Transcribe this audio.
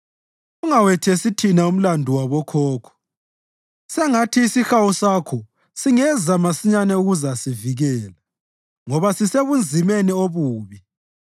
Ungawethesi thina umlandu wabokhokho; sengathi isihawu sakho singeza masinyane ukuzasivikela, ngoba sesisebunzimeni obubi.